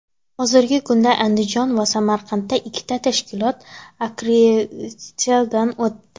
Hozirgi kunda Andijon va Samarqanddan ikkita tashkilot akkreditatsiyadan o‘tdi.